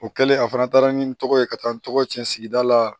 O kɛlen a fana taara ni n tɔgɔ ye ka taa n tɔgɔ cɛn sigida la